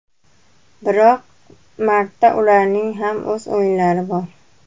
Biroq martda ularning ham o‘z o‘yinlari bor.